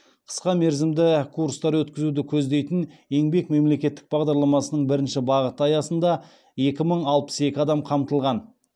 қысқамерзімді курстар өткізуді көздейтін еңбек мемлекеттік бағдарламасының бірінші бағыты аясында екі мың алпыс екі адам қамтылған